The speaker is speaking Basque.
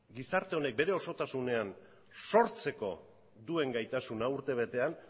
gizarte honek bere osotasunean sortzeko duen gaitasuna urte betean